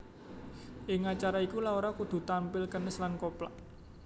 Ing acara iku Laura kudu tanpil kenes lan koplak